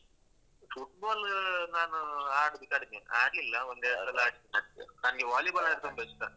Football ನಾನು ಆಡುದು ಕಡಿಮೆ ಆಡ್ಲಿಲ್ಲ ಒಂದೆರಡ್ಸಲ ಆಡಿದ್ದಷ್ಟೆ ನನ್ಗೆ volleyball ಅಂದ್ರೆ ತುಂಬ ಇಷ್ಟ.